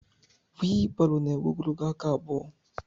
wịịlbarò na-énwé ogologo aka abụo